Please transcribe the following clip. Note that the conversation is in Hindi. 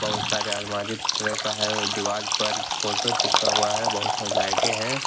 बहुत सारे अलमारी तरह का है दीवाल पर फोटो चिपका हुआ है बहुत सारी लाइटे है।